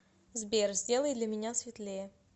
сбер сделай для меня светлее